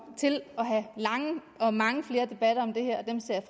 til at have lange og mange flere debatter om det her og dem ser